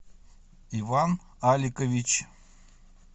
иван аликович